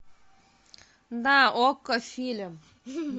на окко фильм